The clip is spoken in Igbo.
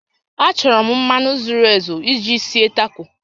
Achọrọ m mmanụ zuru ezu iji sie Taco